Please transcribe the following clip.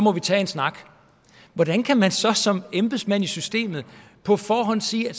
at tage en snak hvordan kan man så som embedsmand i systemet på forhånd sige at